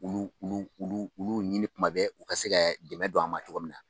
Olu olu olu ɲini tuma bɛɛ u ka se ka dɛmɛ don an ma cogo min na